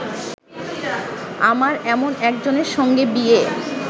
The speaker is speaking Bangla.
আমার এমন একজনের সঙ্গে বিয়ে